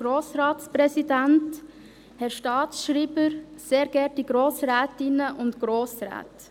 Grossrätin Schneider, Sie haben das Wort.